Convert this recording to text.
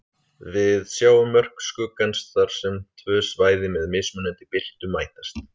Við sjáum mörk skuggans þar sem tvö svæði með mismunandi birtu mætast.